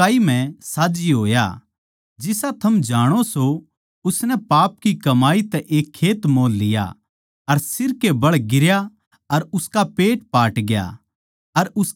जिसा थम जाणो सों उसनै पाप की कमाई तै एक खेत मोल लिया अर सिर के बळ गिरया अर उसका पेट पाटग्या अर उसकी सारी आन्दड़ी लिकड़गी